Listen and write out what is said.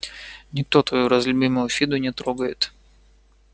никто тот разлюбимую фиду не трогает